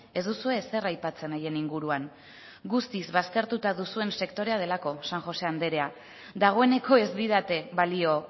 ez duzue ezer aipatzen haien inguruan guztiz baztertuta duzuen sektorea delako san josé anderea dagoeneko ez didate balio